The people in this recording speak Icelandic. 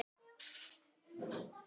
Komið eftir hádegi á morgun.